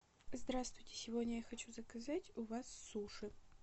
здравствуйте сегодня я хочу заказать у вас суши